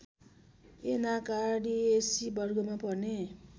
Anacardiaceae वर्गमा पर्ने